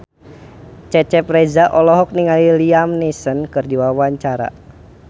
Cecep Reza olohok ningali Liam Neeson keur diwawancara